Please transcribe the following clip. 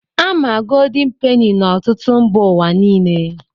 A ma goldin peni na ọtụtụ mba ụwa niile.